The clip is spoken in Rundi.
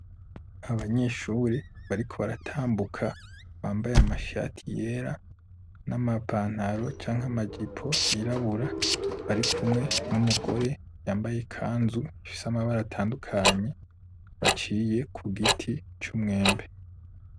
Abanyeshure bariko baratambuka, bambaye amashati yera, n'amapantaro canke amajipo yirabura, barikumwe n'umugore yambaye ikanzu ifise amabara atandukanye, baciye ku giti c'umwembe.